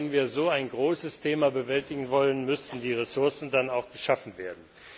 Aber wenn wir so ein großes Thema bewältigen wollen, müssen die Ressourcen dann auch geschaffen werden.